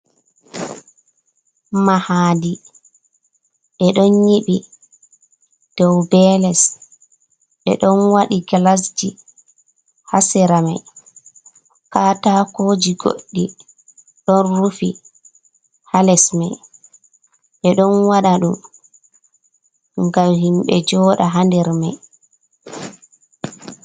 Mahadi ɓe ɗon yiɓi dou be les ɓeɗon waɗi gilasji ha sera mai katakoji goɗɗi don rufi ha les mai ɓe ɗon waɗa ɗum ngam himɓe jooɗa ha nder mai.